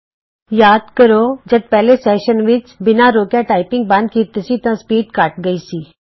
ਤੁਹਾਨੂੰ ਯਾਦ ਹੋਵੇਗਾ ਜਦ ਪਹਿਲੇ ਸੈਸ਼ਨ ਵਿੱਚ ਅਸੀਂ ਬਿਨਾਂ ਰੋਕਿਆਂ ਟਾਈਪਿੰਗ ਬੰਦ ਕੀਤੀ ਸੀ ਤਾਂ ਸਪੀਡ ਘੱਟ ਗਈ ਸੀ